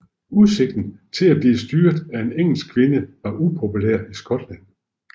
Udsigten til at blive styret af en engelsk kvinde var upopulær i Skotland